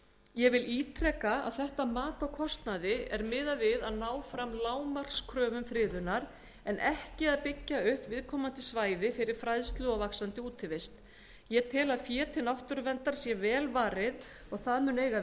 ég vil ítreka að þetta mat á kostnaði er miðað við að ná fram lágmarkskröfum friðunar en ekki að byggja upp viðkomandi svæði fyrir fræðslu og útivist ég held að fé til náttúruverndar sé vel varið og að það muni eiga við